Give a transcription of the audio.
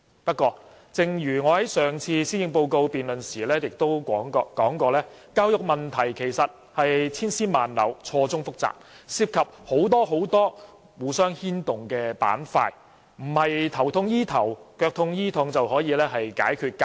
不過，正如我在之前的施政報告辯論中指出，教育問題千絲萬縷，錯綜複雜，涉及很多互相牽動的板塊，並不是"頭痛醫頭，腳痛醫腳"可以解決。